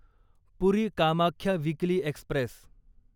puri Kamakhya weekly Express